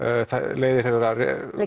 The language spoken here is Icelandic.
leiðir þeirra